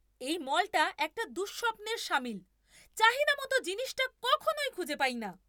এই মলটা একটা দুঃস্বপ্নের শামিল। চাহিদামতো জিনিসটা কখনোই খুঁজে পাই না।